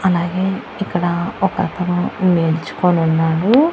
అలాగే ఇక్కడ ఒకతను నిల్చుకొనున్నాడు.